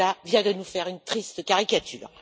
Preda vient de nous faire une triste caricature.